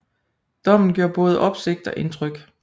Dommen gjorde både opsigt og indtryk